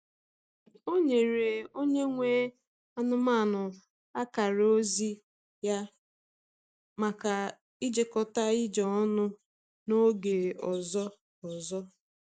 Ọ nyere onye nwe anụmanụ akara ozi ya maka ijekọta ije ọnụ n’oge ọzọ. ọzọ.